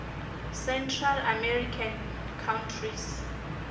central american countries